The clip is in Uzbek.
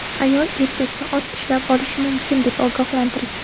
Ayol erkakni ot tishlab olishi mumkin, deb ogohlantirgan.